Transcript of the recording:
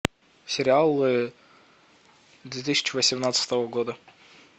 сериал две тысячи восемнадцатого года